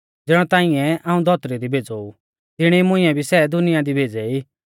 ज़िणौ ताइंऐ हाऊं धौतरी दी भेज़ौ ऊ तिणी मुंइऐ भी सै दुनिया दी भेज़ै ई